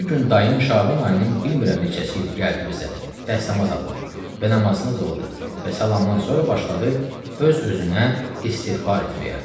Bir gün dayım Şaban ayının bilmirəm neçəsi idi, gəldi bizə dəstəmaz aldı və namazını qıldı və salamdan sonra başladı öz-özünə istiğfar etməyə.